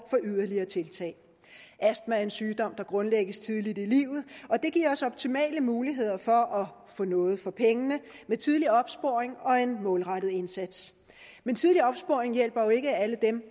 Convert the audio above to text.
for yderligere tiltag astma er en sygdom der grundlægges tidligt i livet og det giver os optimale muligheder for at få noget for pengene ved tidlig opsporing og en målrettet indsats men tidlig opsporing hjælper jo ikke alle dem